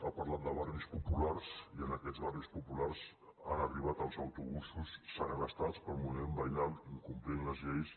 ha parlat de barris populars i en aquests barris populars han arribat els autobusos segrestats pel moviment veïnal incomplint les lleis